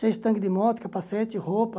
Seja tanque de moto, capacete, roupa.